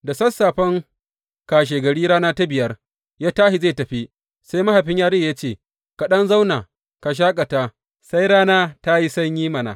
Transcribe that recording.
Da sassafen kashegari rana ta biyar, ya tashi zai tafi, sai mahaifin yarinyar ya ce, Ka ɗan zauna ka shaƙata sai rana ta yi sanyi mana!